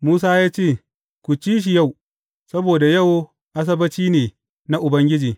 Musa ya ce, Ku ci shi yau, saboda yau Asabbaci ne na Ubangiji.